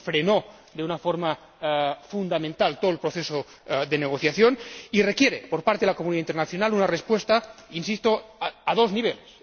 Esto frenó de una forma fundamental todo el proceso de negociación y requiere por parte de la comunidad internacional una respuesta —insisto— a dos niveles.